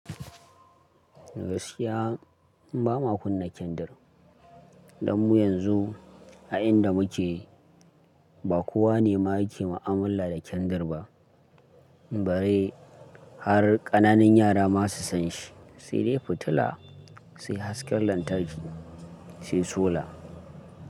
Gaskiya ba ma kunna kyandir. Dan mu yanzu a inda muke ba kowa ne ma yake ma'amulla da kyandir ba. Bare har ƙananun yara ma su san shi. Sai dai fitila, sai hasken lantarki, sai sola.